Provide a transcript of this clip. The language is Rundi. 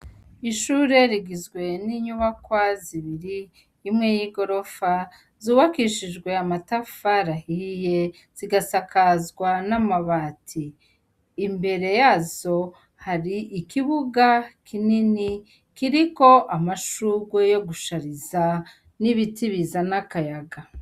Ishure rigizwe n'inyubakwa zibiri, imwe y'igorofa zubakishijwe amatafari ahiye zigasakazwa n'amabati, imbere yazo hari ikibuga kinini kiriko amashugwe yogushariza n'ibiti bizana akayaga.